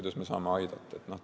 Kuidas me saame aidata?